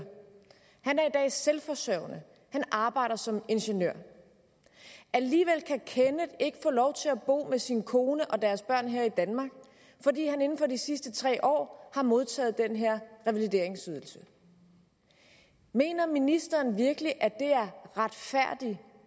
han er i dag selvforsørgende han arbejder som ingeniør alligevel kan kenneth ikke få lov til at bo med sin kone og deres børn her i danmark fordi han inden for de sidste tre år har modtaget den her revalideringsydelse mener ministeren virkelig at det er retfærdig